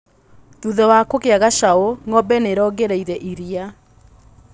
Thutha wa kũgĩa gacaũ ngombe nĩirongereire iria.